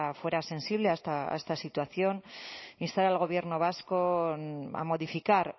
fuera sensible a esta situación instar al gobierno vasco a modificar